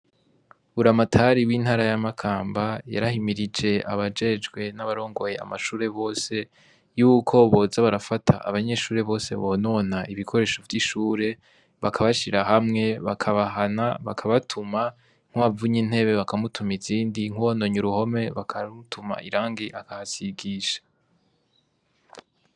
Buramatari w'intara ya Makamba, yarahimirije abajejwe n'abarongoye amashure bose, yuko boza barafata abanyeshure bose bonona ibikoresho vy'ishure, bakabashira hamwe, bakabahana, bakabatuma, nk'uwavunyr intebe bakamutuma izindi, nk'uwononye uruhome bakamutuma irangi akahasigisha.